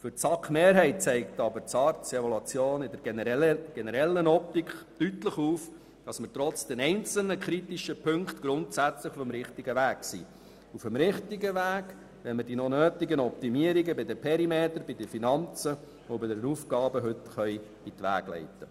Für die SAK-Mehrheit zeigt aber die SARZ-Evaluation insgesamt deutlich auf, dass wir trotz einzelner kritischer Punkte grundsätzlich auf dem richtigen Weg sind, wenn wir die noch nötigen Optimierungen beim Perimeter, bei den Finanzen und bei den Aufgaben heute in die Wege leiten.